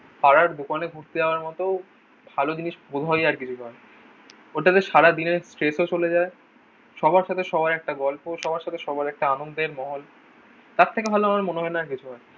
পাড়ার দোকানে ঘুরতে যাওয়ার মতো ভালো জিনিস বোধ হয় আর কিছু হয়না। ওটাতে সারাদিনের স্ট্রেসও চলে যায়। সবার সাথে সবার একটা গল্প। সবার সাথে সবার একটা আনন্দের মহল। তার থেকে ভালো আমার মনে হয় না আর কিছু হয়।